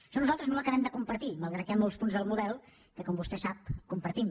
això nosaltres no ho acabem de compartir malgrat que hi ha molts punts del model que com vostè sap compartim